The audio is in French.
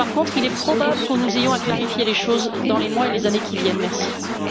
Par contre, il est probable que nous ayons à clarifier les choses dans les mois et les années à venir.